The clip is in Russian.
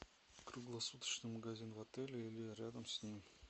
круглосуточный магазин в отеле или рядом с ним